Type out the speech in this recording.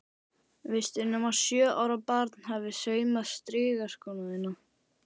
Veistu nema sjö ára barn hafi saumað strigaskóna þína?